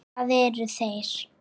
Hvað eru þeir?